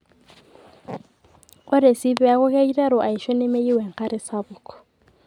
Ore sii pee eeku keiteru aaisho nemeyieu enkare sapuk.